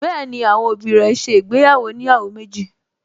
Bẹ́ẹ̀ni, àwọn òbí rẹ̀ ṣe ìgbéyàwó oníyàwó méjì